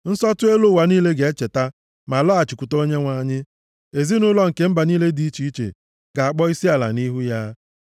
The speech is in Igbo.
Nsọtụ elu ụwa niile ga-echeta, ma laghachikwute Onyenwe anyị. Ezinaụlọ nke mba niile dị iche iche ga-akpọ isiala nʼihu ya.